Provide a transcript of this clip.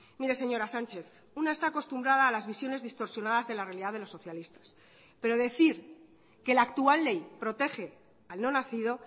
mire señora sánchez una está acostumbrada a las visiones distorsionadas de la realidad de los socialistas pero decir que la actual ley protege al no nacido